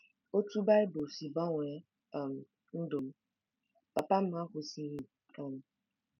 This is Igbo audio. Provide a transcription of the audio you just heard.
OTÚ BAỊBỤL SI GBANWEE um NDỤ M: Papa m akwụsịghị. um